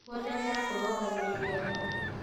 Gũtengera kũrũngagĩrĩrĩa mahũrĩ